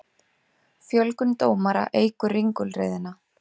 Fjölgun dómara eykur ringulreiðina